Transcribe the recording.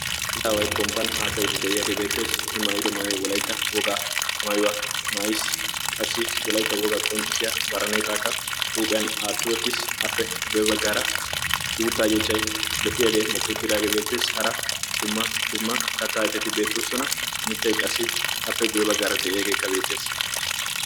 Issi aaway pomppan haasayidi dei'yaagee beettees i maayido maayuwaa wolaitta wogaa maayuwaa maais qassi wolaitta wogaa qonccissiya baraneexaakka huuphiyan atiyootis appe guebaggaara uuttaa yeehchai lo"iyaagee mokouttidaagee beetteessi. hara dumma dumma kattaa ifetti beettoossuna mittai qassi appe guyee baggaara de'iyaageekka beettees